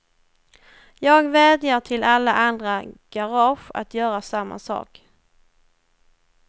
Jag vädjar till alla andra garage att göra samma sak.